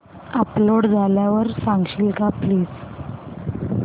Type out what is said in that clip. upload झाल्यावर सांगशील का प्लीज